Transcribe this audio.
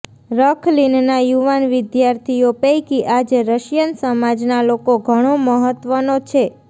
રખલિનના યુવાન વિદ્યાર્થીઓ પૈકી આજે રશિયન સમાજના લોકો ઘણો મહત્વનો છે